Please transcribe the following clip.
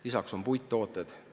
Lisaks on siin mainitud puidutooteid.